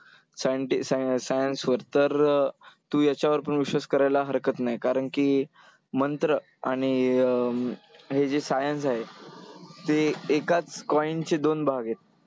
science वर, तर अं तू याच्यावर पण विश्वास करायला हरकत नाही कारण की मंत्र आणि अं हे जे science आहे ते एकाच coin चे दोन भाग आहेत.